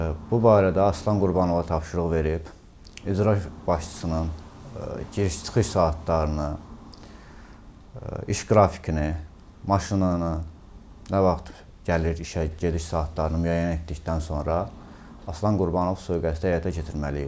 Bu barədə Aslan Qurbanova tapşırıq verib, icra başçısının giriş-çıxış saatlarını, iş qrafikini, maşınını, nə vaxt gəlir işə, gediş saatlarını müəyyən etdikdən sonra Aslan Qurbanov sui-qəsdi həyata keçirməli idi.